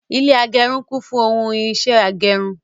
Ilé agẹrun kún fún ohun irinṣẹ agẹrun